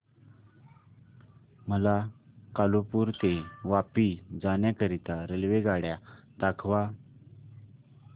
मला कालुपुर ते वापी जाण्या करीता रेल्वेगाड्या दाखवा